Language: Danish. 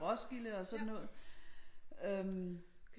Roskilde og sådan noget øh